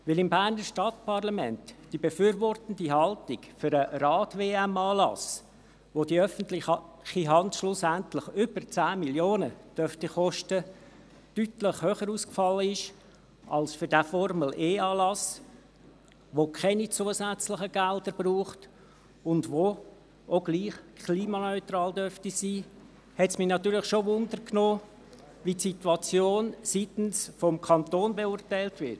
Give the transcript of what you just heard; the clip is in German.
Weil im Berner Stadtparlament die befürwortende Haltung für einen Rad-WM-Anlass, den die öffentliche Hand schlussendlich über 10 Mio. Franken kosten dürfte, deutlich höher ausgefallen ist als für diesen Formel-E-Anlass, der keine zusätzlichen Gelder braucht und auch gleich klimaneutral sein dürfte, hat es mich natürlich schon interessiert, wie die Situation seitens des Kantons beurteilt wird.